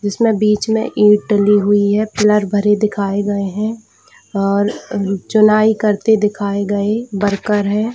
इसमें बीच में ईंट डली हुई है कलर भरे दिखाए गए है और चुनाई करते दिखाए गए वर्कर है।